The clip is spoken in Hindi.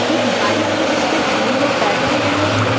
एक बाइक है जिस परे तीन लोग बैठे हुए हैं।